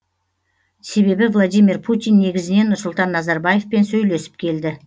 себебі владимир путин негізінен нұрсұлтан назарбаевпен сөйлесіп келді